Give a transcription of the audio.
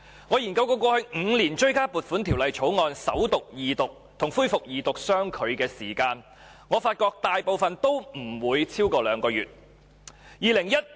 我曾研究過去5年追加撥款條例草案首讀、二讀及恢復二讀相距的時間，我發覺大部分都不超過兩個月。